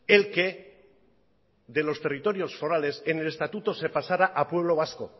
el que de los territorios forales en el estatuto se pasara a pueblo vasco